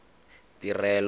tirelo